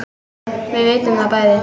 Við vitum það bæði.